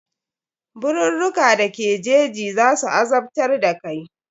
Birurruka da ke jeji za su azabtar da kai.